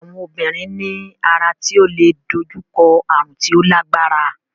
Àwọn obìnrin ní ara tí ó leè dojú kọ ààrùn tí ó lágbára.